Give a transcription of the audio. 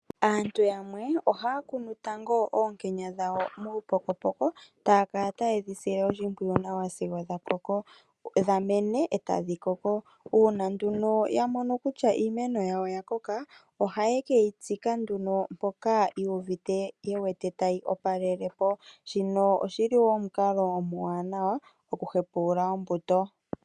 Aantu yamwe ohaya kunu tango oonkenya dhawo muupokopoko taya kala ta yedhi sile oshimpwiyu nawa sigo dha mene etadhi koko . Uuna nduno yamono kutya iiimeno yawo oya koka oha ye keyitsika nduno mpoka yu uvute tayi opalelepo shino oshili omukalo omuwanawa oku hepulul ombuto.